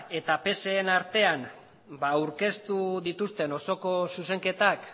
eta pseren artean aurkeztu dituzten osoko zuzenketak